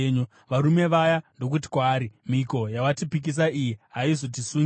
Varume vaya ndokuti kwaari, “Mhiko yawatipikisa iyi haizotisungi